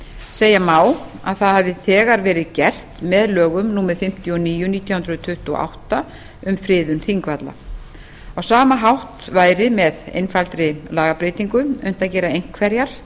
segja má að það hafi þegar verið gert með lögum númer fimmtíu og níu nítján hundruð tuttugu og átta um friðun þingvalla á sama hátt væri með einfaldri lagabreytingu unnt að gera einhverjar